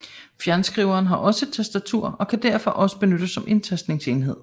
Fjernskriveren har også et tastatur og kan derfor også benyttes som inddateringsenhed